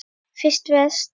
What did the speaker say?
Fyrsta vers.